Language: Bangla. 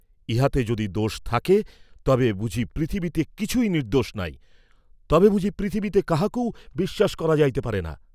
ইহাতে যদি দোষ থাকে, তবে বুঝি পৃথিবীতে কিছুই নির্দ্দোষ নাই তবে বুঝি পৃথিবীতে কাহাকেও বিশ্বাস করা যাইতে পারে না।